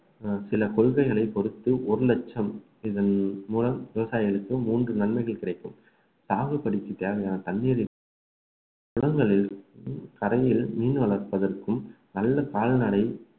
சில கொள்கைகளை பொறுத்து ஒரு லட்சம் இதன் மூலம் விவசாயிகளுக்கு மூன்று நன்மைகள் கிடைக்கும் தாகப்படிக்கு தேவையான தண்ணீரில் மீன் வளர்ப்பதற்கும் நல்ல கால்நடை